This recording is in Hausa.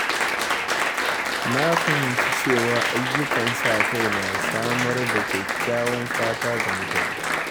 Na fahimci cewa ayyukan sa-kai na samar da kyakkyawan fata ga mutane.